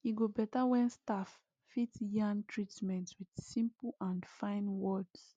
e go better when staff fit yarn treatments with simple and fine words